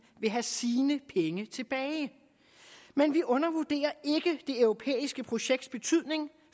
vil have sine penge tilbage men vi undervurderer ikke det europæiske projekts betydning